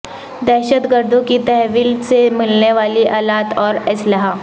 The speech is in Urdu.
دہشت گردوں کی تحویل سے ملنے والے الات اور اسلحہ